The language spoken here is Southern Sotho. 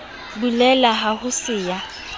bulele ha ho se ya